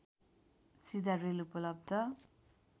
सीधा रेल उपलब्ध